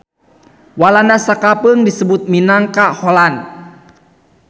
Walanda sakapeung disebut minangka Holland.